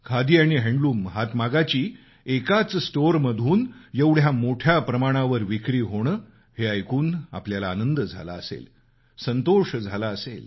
खादी आणि हातमागाची एकाच स्टोअरमधून एवढ्या मोठ्या प्रमाणावर विक्री होणं हे ऐकून आपल्याला आनंद झाला असेल संतोष झाला असेल